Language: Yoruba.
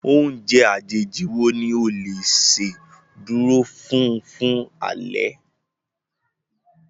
Oúnjẹ àjèjì wo ni o le ṣe dúró fún fún alẹ́?